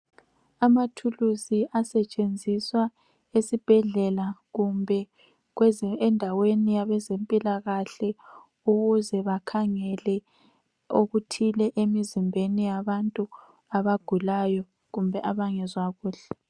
Amathulusi asetshenziswa esibhedlela kumbe endaweni yabezempilakahle, ukuze bakhangele okuthile emzimbeni yabantu abagulayo kumbe abangezwa kuhle.